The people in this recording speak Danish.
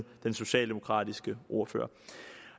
den socialdemokratiske ordfører